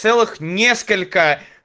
целых несколько